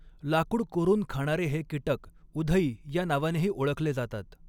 लाकुड कोरून खाणारे हे कीटक उधई या नावानेही ओळखले जातात.